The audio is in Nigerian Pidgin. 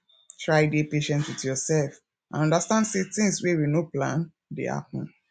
try dey patient with yourself and understand sey things wey we no plan dey happen